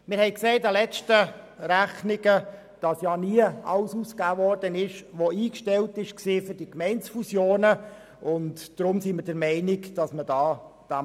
Wir sahen aufgrund der letzten Rechnungen, dass nicht alles ausgegeben wurde, was für die Gemeindefusionen zuvor an Beiträgen eingestellt worden war.